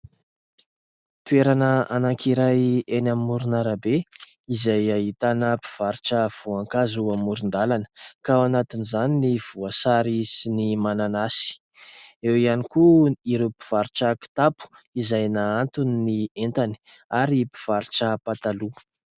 Toerana anankiray eny amomoron'arabe izay ahitana mpivarotra voankazo amoron-dalana, ka ao anatin' izany ny voasary sy ny mananasy; eo ihany koa ireo mpivarotra kitapo izay nahantony ny entany ary mpivarotra pataloha.